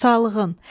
Sağlığın.